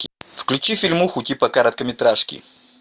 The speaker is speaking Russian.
включи фильмуху типа короткометражки